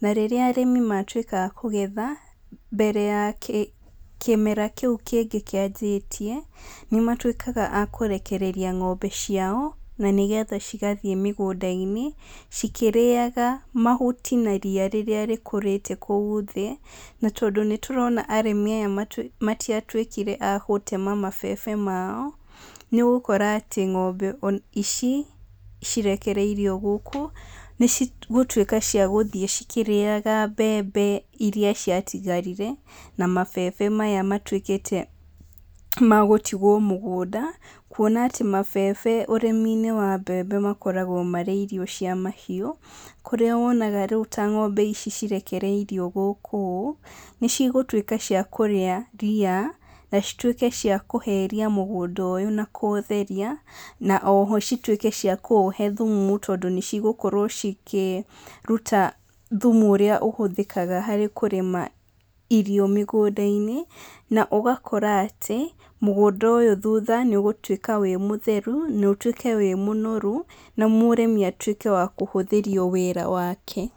na rĩrĩa arĩmi matwĩka a kũgetha, mbere ya kĩ kĩmera kĩu kĩngĩ kĩanjĩtie, nĩmatwĩkaga a kũrekereria ng'ombe ciao na nĩgetha cigathií mĩgũnda-inĩ cikĩrĩaga mahuti na ria rĩrĩa rĩkũrĩte kũu thĩ, na tondũ nĩtũrona arĩmi aya nĩtu matiatwĩkire a gũtema mabebe mao, nĩũgúkora atĩ ng'ombe nĩ ici cirekereirio gũkũ, nĩcigũtwĩka cia gũthi cikĩrĩaga mbembe iria ciatigarire, na mabebe maya matwĩkĩte, ma gũtigwo mũgũnda, kuona a tĩ mabebe ũrĩmi-inĩ wa mbembe makoragwo marí irio cia mahiũ, kũrĩa wonaga ríu ta ng'ombe ici cirekereirio gũkũ ũ, nícigũtwĩka cia kũrĩa ria, na citwĩke cia kũheria mũgũnda ũyũ na kũútheria, na oho citwĩke cia kũũhe thumu tondũ nĩcigũkorwo cikĩruta thumu ũrĩa ũhũthĩkaga harĩ kũrĩma irio mĩgũnda-inĩ, na ũgakora atĩ, mũgũnda ũyũ thutha nĩũgũtwĩka wĩ mũtheru, notwĩke wĩ mũnoru, na mũrĩmi atwĩke wa kũhũthĩrio wĩra wake.